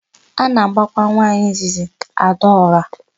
A na-abakwa nwaanyị izizi Adaọra.